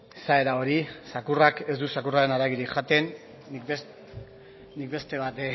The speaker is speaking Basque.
esaera hori zakurrak ez du zakurraren haragirik jaten nik beste bat